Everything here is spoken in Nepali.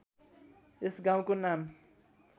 यस गाउँको नाम